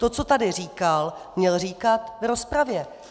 To, co tady říkal, měl říkat v rozpravě.